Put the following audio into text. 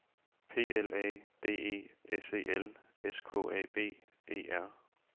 P L A D E S E L S K A B E R